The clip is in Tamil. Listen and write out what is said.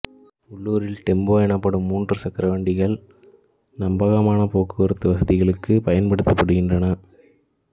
உள்ளூரில் டெம்போ எனப்படும் மூன்று சக்கர வண்டிகள் நம்பகமான போக்குவரத்து வசதிகளுக்குப் பன்படுத்தப்படுகின்றன